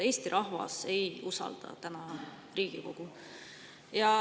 Eesti rahvas ei usalda Riigikogu.